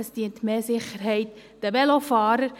Es dient für mehr Sicherheit der Velofahrer.